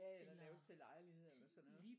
Ja eller laves til lejligheder eller sådan noget